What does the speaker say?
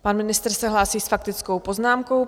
Pan ministr se hlásí s faktickou poznámkou.